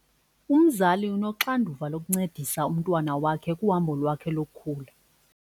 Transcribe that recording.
Umzali unoxanduva lokuncedisa umntwana wakhe kuhambo lwakhe lokukhula.